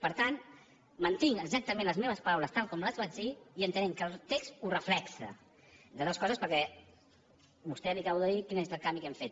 per tant mantinc exactament les meves paraules tal com les vaig dir i entenent que el text ho reflecteix entre altres coses perquè a vostè li acabo de dir quin és el canvi que hem fet